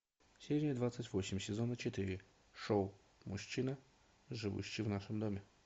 серия двадцать восемь сезона четыре шоу мужчина живущий в нашем доме